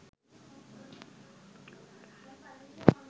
sinhalen chords.com